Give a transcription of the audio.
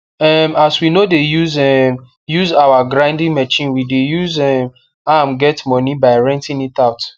um as we no de um use our grinding machine we de use um am get moni by renting it out